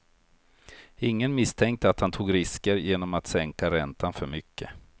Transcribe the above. Ingen misstänkte att han tog risker genom att sänka räntan för mycket.